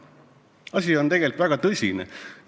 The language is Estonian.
Asi on tegelikult väga tõsine.